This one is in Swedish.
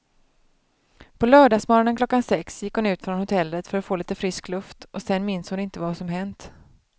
På lördagsmorgonen klockan sex gick hon ut från hotellet för att få lite frisk luft och sen minns hon inte vad som hänt.